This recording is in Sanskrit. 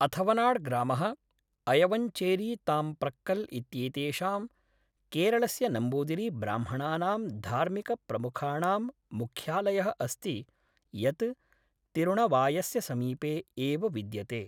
अथवनाड् ग्रामः, अयवञ्चेरीताम्प्रक्कल् इत्येतेषां, केरळस्य नम्बूदिरीब्राह्मणानां धार्मिकप्रमुखाणां मुख्यालयः अस्ति यत् तिरुणवायस्य समीपे एव विद्यते।